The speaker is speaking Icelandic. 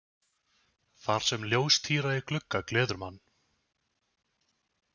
Þar sem ljóstíra í glugga gleður mann.